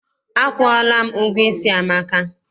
Akwụọla m ụgwọ isi Amaka.